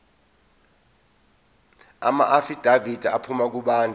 amaafidavithi aphuma kubantu